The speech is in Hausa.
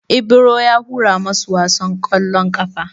Ibro ya hura masu wasan ƙwallon ƙafan.